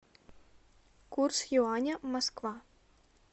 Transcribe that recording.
курс юаня москва